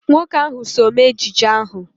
Nwoke ahụ so mee ejije ahụ.